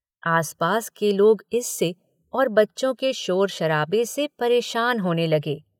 आसपास के लोग इससे और बच्चों के शोर-शराबे से परेशान होने लगे।